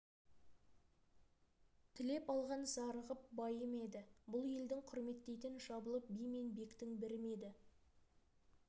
тілеп алған зарығып байы ма еді бұл елдің құрметтейтін жабылып би мен бектің бірі ме еді